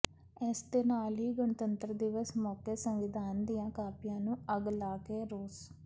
ਇਸ ਦੇ ਨਾਲ ਹੀ ਗਣਤੰਤਰ ਦਿਵਸ ਮੌਕੇ ਸੰਵਿਧਾਨ ਦੀਆਂ ਕਾਪੀਆਂ ਨੂੰ ਅੱਗ ਲਾ ਕੇ ਰੋਸ